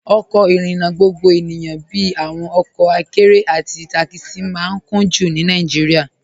Ọkọ irinna gbogbo ènìyàn bíi awọn ọkọ àkẹ̀rẹ̀ àti takisi maa n kùn-jú ní Nàìjíríà.